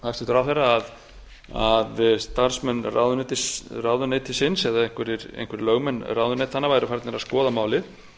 í orðum hæstvirts ráðherra að starfsmenn ráðuneytisins eða einhverjir lögmenn ráðuneytanna væru farnir að skoða málið